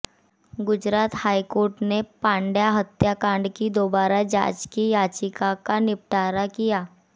Gujarat high court ने पांड्या हत्याकांड की दोबारा जांच की याचिका का निपटारा किया